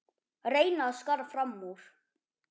Reyna að skara fram úr.